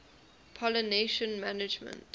pollination management